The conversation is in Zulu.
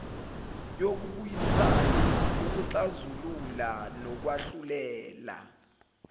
yokubuyisana ukuxazulula nokwahlulela